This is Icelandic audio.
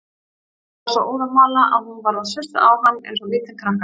Hann var svo óðamála að hún varð að sussa á hann eins og lítinn krakka.